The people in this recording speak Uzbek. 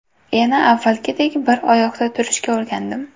Yana avvalgidek bir oyoqda turishga o‘rgandim.